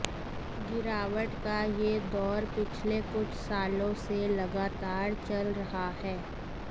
गिरावट का यह दौर पिछले कुछ सालों से लगातार चल रहा है